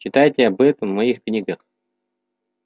читайте об этом в моих книгах